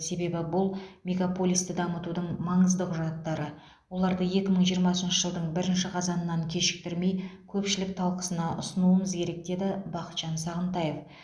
себебі бұл мегаполисті дамытудың маңызды құжаттары оларды екі мың жиырмасыншы жылдың бірінші қазанынан кешіктірмей көпшілік талқысына ұсынуымыз керек деді бақытжан сағынтаев